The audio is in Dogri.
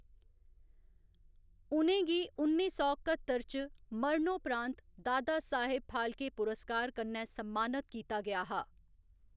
उ'नें गी उन्नी सौ कत्तर च मरणोपरांत दादा साहेब फाल्के पुरस्कार कन्नै सम्मानत कीता गेआ हा।